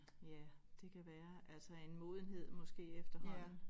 Ja det kan være altså en modenhed måske efterhånden